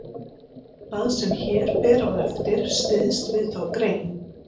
Það sem hér fer á eftir styðst við þá grein.